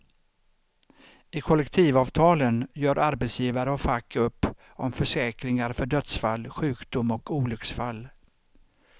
I kollektivavtalen gör arbetsgivare och fack upp om försäkringar för dödsfall, sjukdom och olycksfall.